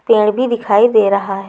पेड़ भी दिखाई दे रहा--